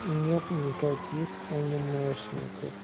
нет никаких анимешников